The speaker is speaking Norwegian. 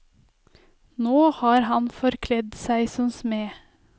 Nå har han forkledd seg som smed.